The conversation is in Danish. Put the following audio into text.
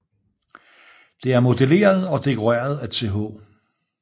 Det er modelleret og dekoreret af Th